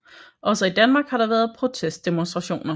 Også i Danmark har der været protestdemonstrationer